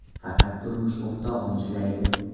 Faqat turmush o‘rtog‘im ishlaydi.